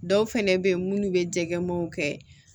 Dɔw fɛnɛ be yen munnu be jɛgɛmaw kɛ